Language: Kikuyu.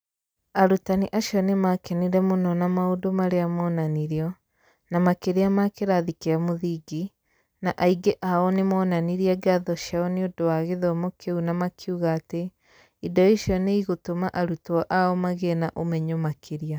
Arutani acio nĩ maakenire mũno na maũndũ marĩa monanirio, na makĩria ma kĩrathi kĩa mũthingi, na aingĩ ao nĩ moonanirie ngatho ciao nĩ ũndũ wa gĩthomo kĩu na makiuga atĩ indo icio nĩ igũtũma arutwo ao magĩe na ũmenyo makĩria.